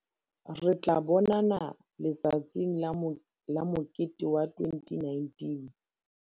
Re tla bonana Letsatsing la Mokete wa 2019!